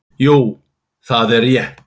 Jú, það er rétt.